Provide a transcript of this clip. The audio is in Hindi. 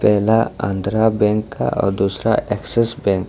पहला आंध्रा बैंक का और दूसरा एक्सिस बैंक --